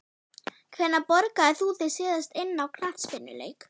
Hvenær borgaðir þú þig síðast inn á knattspyrnuleik?